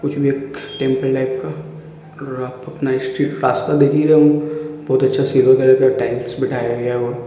कुछ भी एक टेम्पल टाइप का। देख ही रहे होंगे। बहुत अच्छा सिल्वर कलर का टाइल्स बिठाया गया है और --